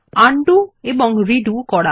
undo এবং redo করা